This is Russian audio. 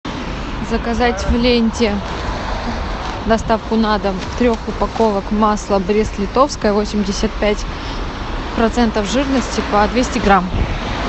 заказать в ленте доставку на дом трех упаковок масла брест литовское восемьдесят пять процентов жирности по двести грамм